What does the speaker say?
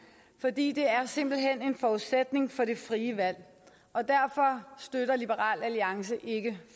fordi det simpelt hen er en forudsætning for det frie valg og derfor støtter liberal alliance ikke